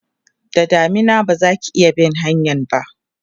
da damina bazaki iya bin hanyan ba